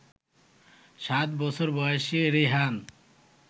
সাত বছর বয়সী রিহান